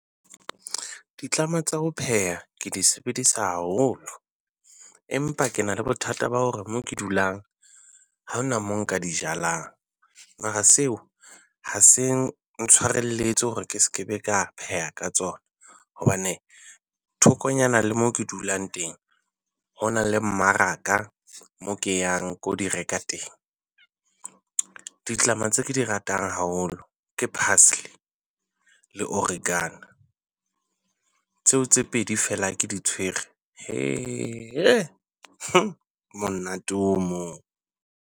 Ditlama tsa ho pheha ke di sebedisa haholo. Empa ke na le bothata ba hore mo ke dulang ha ho na mo nka di jalang. Mara seo ha se ntshwarelletse hore ke se be ka pheha ka tsona hobane thokonyana le mo ke dulang teng hona le mmaraka mo ke yang ke o di reka teng. Ditlama tse ke di ratang haholo ke parsely le oregana. Tseo tse pedi feela ha ke di tswere monate o moo.